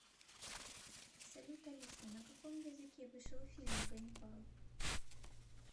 салют алиса на каком языке вышел фильм ганнибал